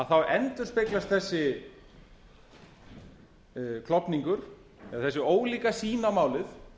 þá endurspeglast þessi klofningur eða þessi ólíka sýn á málið